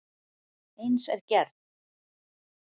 Eins er gerð